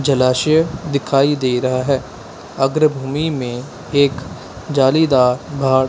जलाशय दिखाई दे रहा है अग्र भूमि में एक जालीदार भाग--